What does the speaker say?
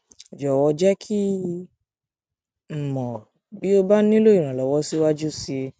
jọwọ jẹ kí n mọ bí o o bá nílò ìrànlọwọ síwájú sí i